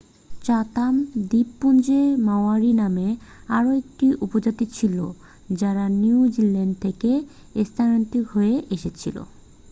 Chatham দ্বীপপুঞ্জের Maori নামে আরও একটি উপজাতি ছিল যারা নিউজিল্যান্ড থেকে স্থানান্তরিত হয়ে এসেছিল